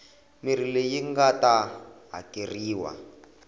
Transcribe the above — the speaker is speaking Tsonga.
mirhi leyi nga ta hakeriwa